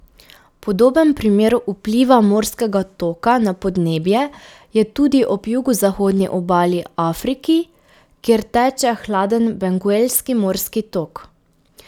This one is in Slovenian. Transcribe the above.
Podoben primer vpliva morskega toka na podnebje je tudi ob jugozahodni obali Afriki, kjer teče hladen Benguelski morski tok.